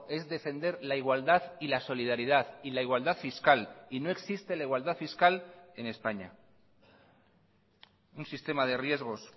es defender la igualdad y la solidaridad y la igualdad fiscal y no existe la igualdad fiscal en españa un sistema de riesgos